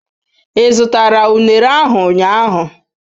Ị zụtara unere ahu ụnyahụ?